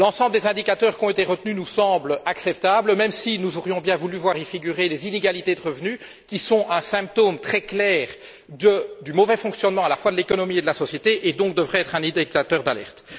L'ensemble des indicateurs qui ont été retenus nous semblent acceptables, même si nous aurions bien voulu y voir figurer les inégalités de revenus, qui sont un symptôme très clair du mauvais fonctionnement à la fois de l'économie et de la société et qui devraient donc être un indicateur d'alerte.